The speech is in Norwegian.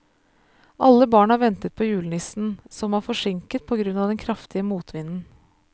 Alle barna ventet på julenissen, som var forsinket på grunn av den kraftige motvinden.